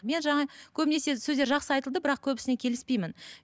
мен жаңа көбінесе сөздер жақсы айтылды бірақ көбісіне келіспеймін